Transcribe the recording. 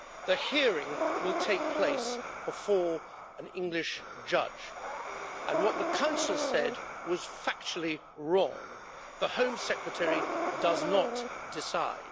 The hearing will take place before an English judge, and what the Council said was factually wrong the Home Secretary does not decide.